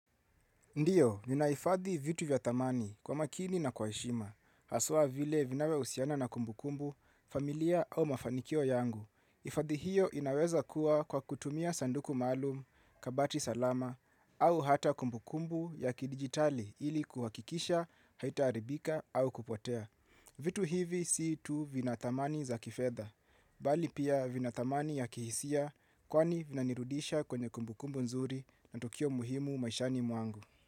Ndiyo, ninahifadhi vitu vya thamani kwa makini na kwa heshima, haswa vile vinavyohusiana na kumbukumbu, familia au mafanikio yangu. Hifadhi hiyo inaweza kuwa kwa kutumia sanduku maalum, kabati salama, au hata kumbukumbu ya kidijitali ili kuhakikisha, haitaharibika au kupotea. Vitu hivi sii tu vina thamani za kifedha, bali pia vina thamani ya kihisia kwani vinanirudisha kwenye kumbukumbu nzuri na tukio muhimu maishani mwangu.